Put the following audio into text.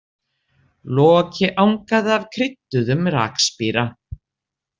Loki angaði af krydduðum rakspíra.